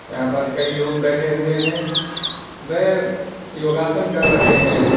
यहां पर कई लोग बैठे हुए हैं वह योगासन कर रहे हैं।